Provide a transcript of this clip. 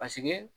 Paseke